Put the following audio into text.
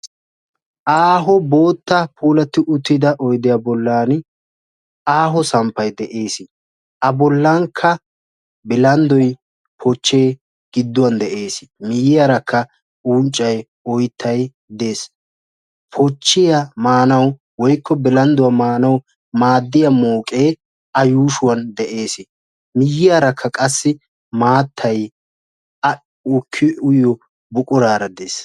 Aaho bootta puulati uttida oyddiya bollani aaho samppay de'ees. A bollanka bilanddoy, pooche gidduwan de'ees. Miiyiyaraka unccay, oyttay de'ees. Poochiya maanawu woykko bilandduwa maanawu maadiya mooqee a yuushuwan de'ees. Miiyiyaraka qassi maattay a duqi uyiyo buqurara de'ees.